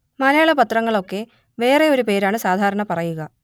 മലയാള പത്രങ്ങൾ ഒക്കെ വേറെ ഒരു പേരാണ് സാധാരണ പറയുക